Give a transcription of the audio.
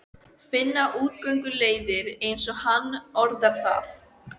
Finna útgönguleiðir, eins og hann orðar það.